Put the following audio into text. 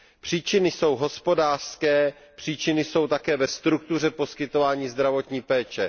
Příčiny jsou hospodářské, příčiny jsou také ve struktuře poskytování zdravotní péče.